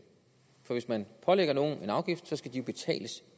for hvis man pålægger nogen en afgift skal den jo betales